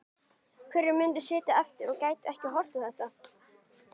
Hverjir myndu sitja eftir og gætu ekki horft á þetta?